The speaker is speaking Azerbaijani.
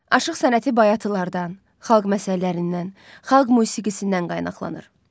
Aşıq sənəti bayatılardan, xalq məsəllərindən, xalq musiqisindən qaynaqlanır.